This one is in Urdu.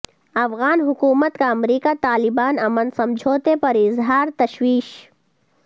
افغان حکومت کا امریکہ طالبان امن سمجھوتے پر اظہار تشویش